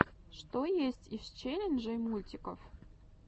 что есть из челленджей мультиков